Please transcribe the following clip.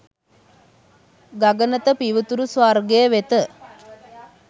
ගගනත පිවිතුරු ස්වර්ගය වෙත